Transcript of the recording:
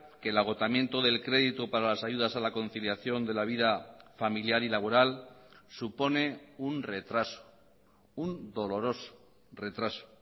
que el agotamiento del crédito para las ayudas a la conciliación de la vida familiar y laboral supone un retraso un doloroso retraso